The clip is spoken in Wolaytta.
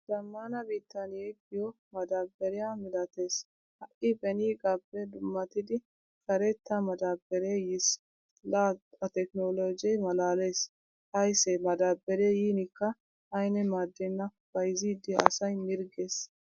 Zamaana biittan yeegiyo madabariyaa milatees. Ha'i benigappe dummattidi karetta madabare yiis. L atekkinolojje malaalees. Aysse madabare yinikka ayne maaddena. Bayzzidi asay mirggees.